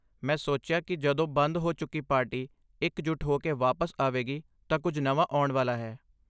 ਮੈਂ ਸੋਚਿਆ ਕਿ ਜਦੋਂ ਬੰਦ ਹੋ ਚੁੱਕੀ ਪਾਰਟੀ ਇਕ ਜੁੱਟ ਹੋ ਕੇ ਵਾਪਸ ਆਵੇਗੀ ਤਾਂ ਕੁੱਝ ਨਵਾਂ ਆਉਣ ਵਾਲਾ ਹੈ